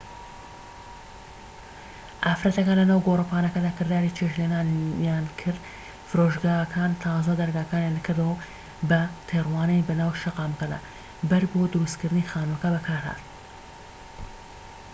ئافرەتەکان لە ناو گۆڕەپانەکە کرداری چێشت لێنانیان کرد فرۆشگاکان تازە دەرگاکانیان کردەوە بە تێڕوانین بە ناو شەقامەکە بەرد بۆ دروست کردنی خانووەکان بەکارهات